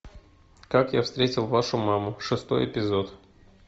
как я встретил вашу маму шестой эпизод